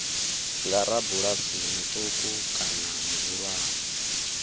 nga rabulasi muṱuku kana muhulwane